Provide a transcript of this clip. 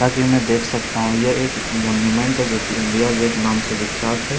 कि मैं देख सकता हूं यह एक मनुमेंट है जो कि इंडिया गेट नाम से विख्यात है।